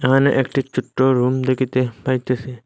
এখানে একটি চট্ট রুম দেখিতে পাইতেসি।